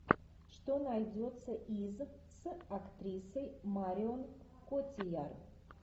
что найдется из с актрисой марион котийяр